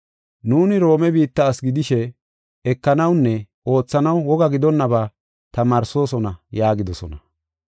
Nuuni Roome biitta asi gidishe ekanawunne oothanaw woga gidonnaba tamaarsoosona” yaagidosona.